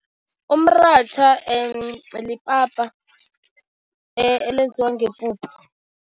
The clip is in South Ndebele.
Umratha lipapa elenziwa ngepuphu.